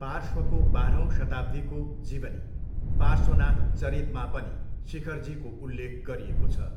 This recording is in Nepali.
पार्श्वको बाह्रौँ शताब्दीको जीवनी पार्श्वनाथचरितमा पनि शिखरजीको उल्लेख गरिएको छ।